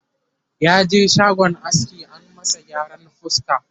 yaje shagon aski an masa gyaran fuska